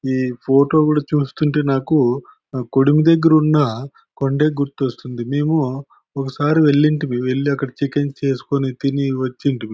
ఈ ఫోటో కూడా చూస్తుంటే నాకు కొడిమి దగ్గర ఉన్న కొండే గుర్తొస్తుంది మేము ఒకసారి వెళ్లుంటిమి వెళ్లి అక్కడ చికెన్ చేసుకుని తిని వచ్చింటిమి.